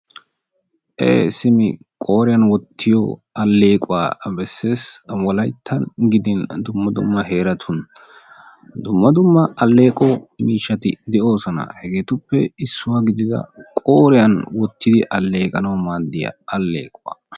Ee simi qooriyan wottiyo alleequwa besses. Wolayittan gidin dumma dumma heeratun dumma dumma alleeqo miishshati de'oosona. Hegeetuppe issuwa gidida qooriyan wottidi alleeqanawu maaddiya alleequwa.